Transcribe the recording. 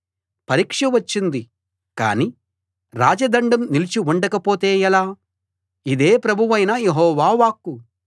పరీక్ష వచ్చింది కాని రాజదండం నిలిచి ఉండకపోతే ఎలా ఇదే ప్రభువైన యెహోవా వాక్కు